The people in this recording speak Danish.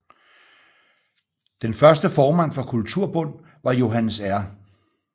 Den første formand for Kulturbund var Johannes R